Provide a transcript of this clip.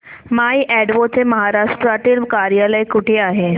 माय Advo चे महाराष्ट्रातील कार्यालय कुठे आहे